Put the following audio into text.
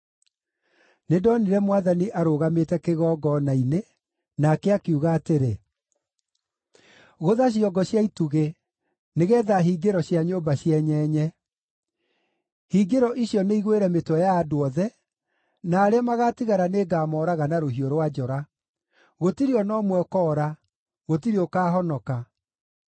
Nĩndonire Mwathani arũgamĩte kĩgongona-inĩ, nake akiuga atĩrĩ: “Gũtha ciongo cia itugĩ, nĩgeetha hingĩro cia nyũmba cienyenye. Hingĩro icio nĩigwĩre mĩtwe ya andũ othe, na arĩa magatigara nĩngamooraga na rũhiũ rwa njora. Gũtirĩ o na ũmwe ũkoora; gũtirĩ ũkaahonoka.